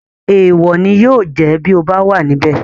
Èèwò ni yóò jẹ́ bíi ọ bá wà níbẹ̀